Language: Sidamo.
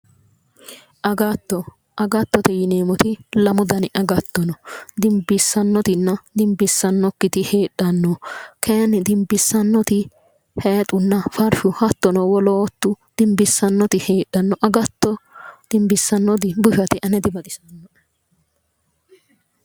Agatto agattote yineemoti lamu gari agatto no dinibbissanotina dinibbissanokkiti heedhano kaayin dinibbissannoti haayixunna farishu hattono woloottu dinibbissanoti heedhano agatto dinibbissannoti bushate ane dibaxisanoe